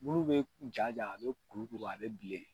Bulu bɛ ja ja a bɛ kuru kuru a bɛ bilen.